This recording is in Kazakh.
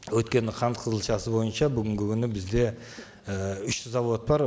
өйткені қант қызылшасы бойынша бүгінгі күні бізде і үш зауыт бар